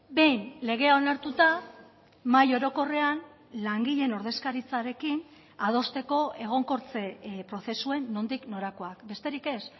behin legea onartuta mahai orokorrean langileen ordezkaritzarekin adosteko egonkortze prozesuen nondik norakoak besterik ez